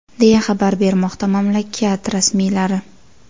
deya xabar bermoqda mamlakat rasmiylari.